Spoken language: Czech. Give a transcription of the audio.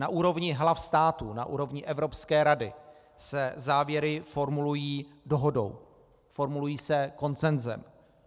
Na úrovni hlav států, na úrovni Evropské rady, se závěry formulují dohodou, formulují se konsenzem.